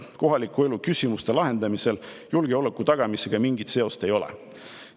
" kohaliku elu küsimuste lahendamisel julgeoleku tagamisega mingit seost ei ole.